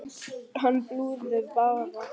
Hann flúði bara!